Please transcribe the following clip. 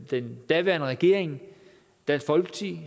den daværende regering dansk folkeparti